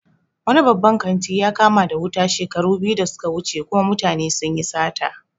Wani babban kanti ya kama da wuta shekaru biyu da suka wuce kuma mutane sunyi sata